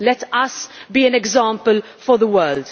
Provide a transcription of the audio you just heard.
Let us be an example for the world.